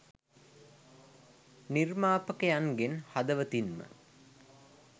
නිර්මාපකයන්ගෙන් හදවතින්ම